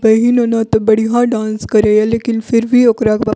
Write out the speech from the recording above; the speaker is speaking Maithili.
बहिन ओना ये बढ़िया डांस करे ये लेकिन फिर भी ओकरा --